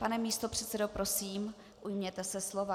Pane místopředsedo, prosím, ujměte se slova.